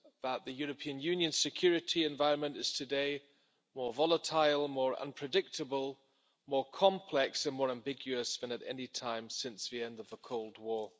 that the European Union's security environment is today more volatile, more unpredictable, more complex and more ambiguous than at any time since the end of the Cold War.